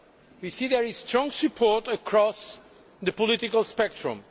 We see there is strong support across the political spectrum